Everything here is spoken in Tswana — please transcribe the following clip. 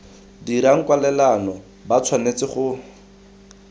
dirang kwalelano ba tshwanetse go